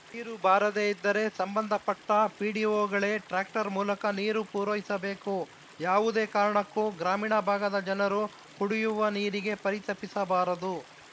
ನೀರು ಬಾರದೆ ಇದ್ದರೆ ಸಂಬಂಧಪಟ್ಟಪಿಡಿಒಗಳೇ ಟ್ರ್ಯಾಕ್ಟರ್‌ ಮೂಲಕ ನೀರು ಪೂರೈಸಬೇಕು ಯಾವುದೇ ಕಾರಣಕ್ಕೂ ಗ್ರಾಮೀಣ ಭಾಗದ ಜನರು ಕುಡಿಯುವ ನೀರಿಗೆ ಪರಿತಪಿಸಬಾರದು